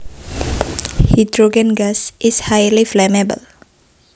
Hydrogen gas is highly flammable